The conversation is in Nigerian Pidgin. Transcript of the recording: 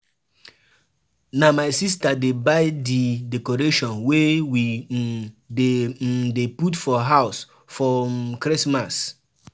We don plan as we go take entertain we visitors for holiday.